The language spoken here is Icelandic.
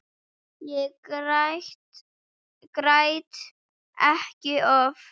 Ég græt ekki oft.